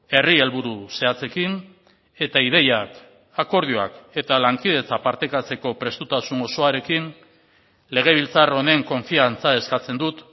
herri helburu zehatzekin eta ideiak akordioak eta lankidetza partekatzeko prestutasun osoarekin legebiltzar honen konfiantza eskatzen dut